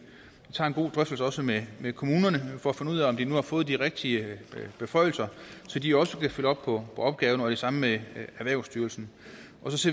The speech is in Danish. tager en god drøftelse også med kommunerne for at finde ud af om de nu har fået de rigtige beføjelser så de også kan følge op på opgaven og det samme med erhvervsstyrelsen